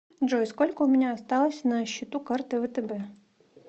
джой сколько у меня осталось на счету карты втб